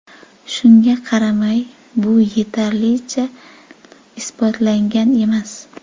Shunga qaramay, bu yetarlicha isbotlangan emas.